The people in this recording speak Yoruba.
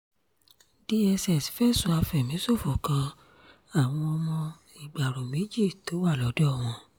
dss fẹ̀sùn àfẹ̀míṣòfò kan àwọn ọmọọṣẹ́ ìgbárò méjì tó wà lọ́dọ̀ wọn